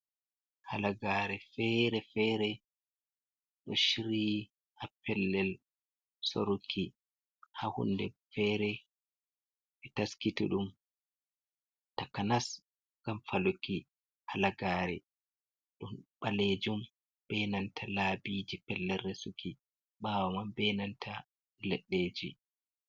Halagare fere-fere ɗo shiryi ha pellel soruki, ha hunde fere. Ɓe taskiti ɗum takanas ngam faluki halagare. Ɗon ɓaleejum be nanta labiji pellel resuki ɓaawo man, be nanta leɗɗeji.